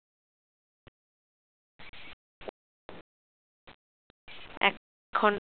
খন